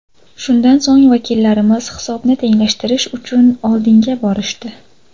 Shundan so‘ng, vakillarimiz hisobni tenglashtirish uchun oldinga borishdi.